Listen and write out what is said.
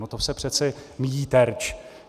No to se přece míjí terč.